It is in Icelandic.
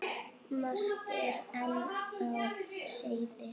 Margt er enn á seyði.